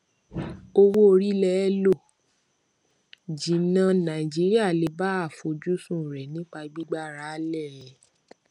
owó orí lè lọ jìnnà nàìjíríà lè bá àfojúsùn rẹ nípa gbígbára lé e